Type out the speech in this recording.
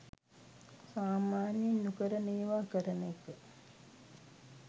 සාමාන්‍යයෙන් නොකරන ඒවා කරන එක